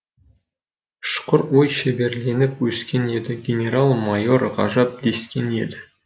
ұшқыр ой шеберленіп өскен еді генерал майор ғажап дескен еді